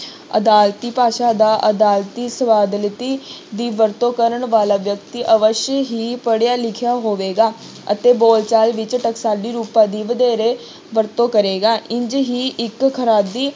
ਅਦਾਲਤੀ ਭਾਸ਼ਾ ਦਾ ਅਦਾਲਤੀ ਸ਼ਬਦਾਵਲੀ ਦੀ ਵਰਤੋਂ ਕਰਨ ਵਾਲਾ ਵਿਅਕਤੀ ਅਵਸ਼ਯ ਹੀ ਪੜ੍ਹਿਆ ਲਿਖਿਆ ਹੋਵੇਗਾ ਅਤੇ ਬੋਲਚਾਲ ਵਿੱਚ ਟਕਸਾਲੀ ਰੂਪਾਂ ਦੀ ਵਧੇਰੇ ਵਰਤੋਂ ਕਰੇਗਾ ਇੰਞ ਹੀ ਇੱਕ ਖਰਾਦੀ